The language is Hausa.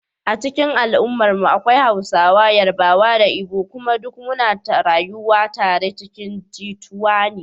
A cikin al’ummarmu akwai Hausawa, Yarbawa da Igbo kuma duk muna rayuwa tare cikin jituwa.